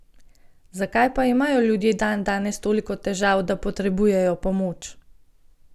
Zakaj pa imajo ljudje dandanes toliko težav, da potrebujejo pomoč?